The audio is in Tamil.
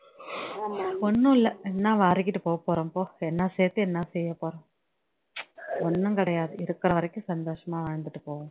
ஒண்ணும் இல்லை என்ன வாரிக்கிட்டு போகப்போறோம் போ இப்போ என்ன சேர்த்து என்ன செய்ய போறோம் ச்சு ஒண்ணும்கிடையாது இருக்குற வரைக்கும் சந்தோஷமா வாழ்ந்துட்டு போவோம்